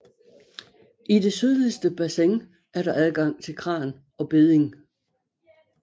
I det sydligste bassin er der adgang til kran og bedding